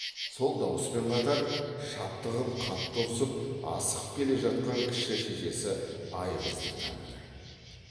сол дауыспен қатар шаптығып қатты ұрсып асығып келе жатқан кіші шешесі айғызды таныды